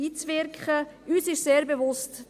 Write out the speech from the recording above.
Uns ist es sehr bewusst: